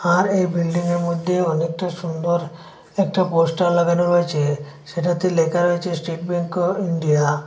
আর এই বিল্ডিংয়ের মদ্যে অনেকটা সুন্দর একটা পোস্টার লাগানো রয়েছে সেটাতে লেখা রয়েছে স্টেট ব্যাংক অব ইন্ডিয়া ।